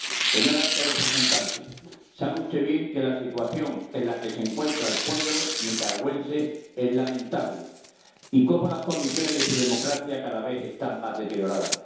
Señor alto representante, sabe usted bien que la situación en la que se encuentra el pueblo nicaragüense es lamentable y cómo las condiciones de su democracia cada vez están más deterioradas.